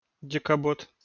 декабот